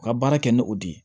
U ka baara kɛ ni o de ye